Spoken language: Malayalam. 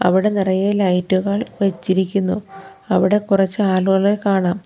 അവിടെ നിറയെ ലൈറ്റുകൾ വച്ചിരിക്കുന്നു അവിടെ കൊറച്ച് ആളുകളെ കാണാം.